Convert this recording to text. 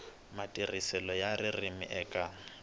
matirhiselo ya ririmi eka